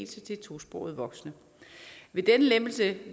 til tosprogede voksne ved denne lempelse